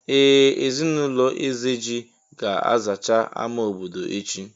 Ee! Ezinụlọ Ezeji ga-azacha àmà obodo echi.